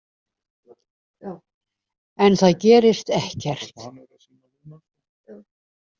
En það gerist ekkert.